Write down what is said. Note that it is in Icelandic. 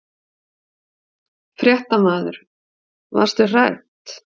Fréttamaður: Varst þú hrædd?